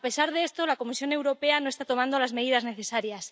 A pesar de esto, la Comisión Europea no está tomando las medidas necesarias.